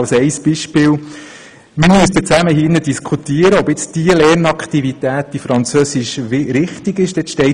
Wir müssten zusammen diskutieren, ob die folgende Lernaktivität richtig ist oder nicht: